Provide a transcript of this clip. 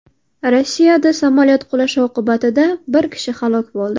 Rossiyada samolyot qulashi oqibatida bir kishi halok bo‘ldi.